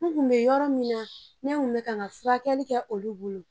N kun bɛ yɔrɔ min na ne n tun bɛ ka furakɛli kɛ olu bolo